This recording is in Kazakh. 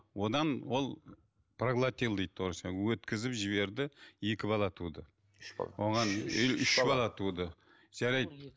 одан ол проглотил дейді өткізіп жіберді екі бала туды үш бала үш үш үш бала туды жарайды